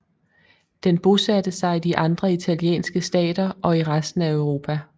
Den bosatte sig i de andre italienske stater og i resten af Europa